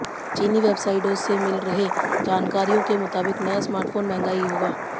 चीनी वेबसाइटों से मिल रहे जानकारियों के मुताबिक नया स्मार्टफोन महंगा ही होगा